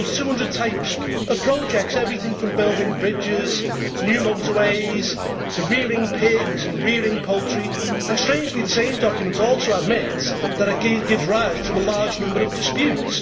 It rules 200 types of projects everything from building bridges to new motorways, to rearing pigs and rearing poultry and, strangely, the same document also admits that it gives rise to a large number of disputes.